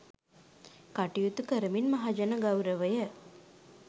කටයුතු කරමින් මහජන ගෞරවය